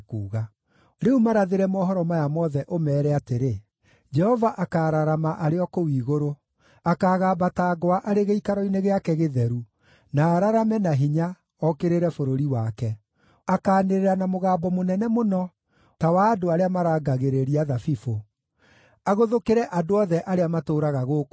“Rĩu marathĩre mohoro maya mothe, ũmeere atĩrĩ: “ ‘Jehova akaararama arĩ o kũu igũrũ; akaagamba ta ngwa arĩ gĩikaro-inĩ gĩake gĩtheru, na ararame na hinya, okĩrĩre bũrũri wake. Akaanĩrĩra na mũgambo mũnene mũno ta wa andũ arĩa marangagĩrĩria thabibũ, agũthũkĩre andũ othe arĩa matũũraga gũkũ thĩ.